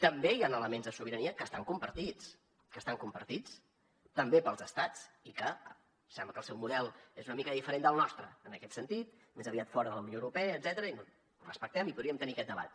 també hi han elements de sobirania que estan compartits que estan compartits també pels estats i que sembla que el seu model és una mica diferent del nostre en aquest sentit més aviat fora de la unió europea i etcètera i ho respectem i podríem tenir aquest debat